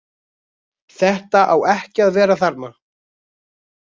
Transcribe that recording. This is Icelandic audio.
Þetta á ekki að vera þarna